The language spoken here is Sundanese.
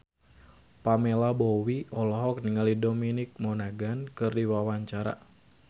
Pamela Bowie olohok ningali Dominic Monaghan keur diwawancara